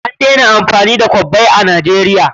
An daina amfani da kwabbai a Najeriya.